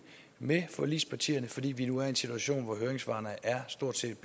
med forligspartierne fordi vi nu er i en situation hvor høringssvarene stort set